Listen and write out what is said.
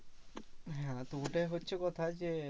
হ্যাঁ তো ওটাই হচ্ছে কথা যে